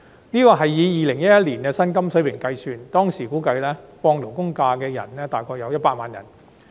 這款額是以2011年的薪金水平計算，當時估計放取法定假日的僱員約有100萬人。